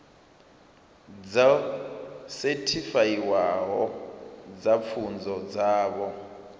dzo sethifaiwaho dza pfunzo dzavho